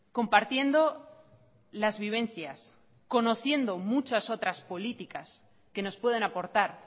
compartiendo las vivencias conociendo muchas otras políticas que nos pueden aportar